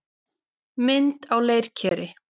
Mynd á leirkeri.